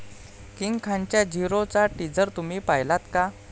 King खानच्या 'झीरो'चा teaser तुम्ही पाहिलात का?